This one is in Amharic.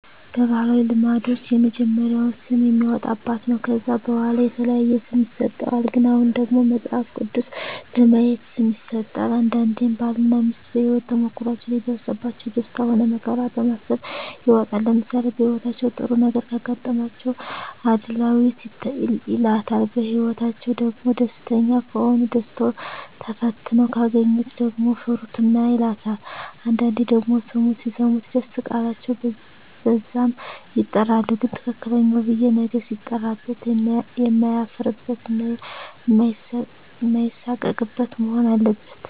በባህላዊ ልምዶች የመጀመሪያውን ስም የሚያወጣ አባት ነው ከዛ በዋላ የተለያየ ስም ይሰጥሃል ግን አሁን ደግሞ መጸሀፍ ቅዱስ በማየት ስም ይሠጣል አንዳንዴም ባል እና ሜስት በሄወት ተሞክሮዎች ላይ የደረሰባቸው ደስታ ሆነ መከራ በማሰብ ይወጣል ለምሳሌ በህይወታቸው ጥሩ ነገረ ካጋጠማቸው እድላዌት ይላታል በህይወትአቸዉ ደግሞ ደስተኛ ከሆኑ ደስታው ተፈትነው ካገኛት ደግሞ ፍርቱና ይላታል አንዳንዴ ደግሞ ስሙ ሲሰሙት ደስ ቃላቸው በዛም ይጠራሉ ግን ትክክለኛው ብየ ነገ ሲጠራበት የማያፍርበት እና ማይሳቀቅበት መሆን አለበት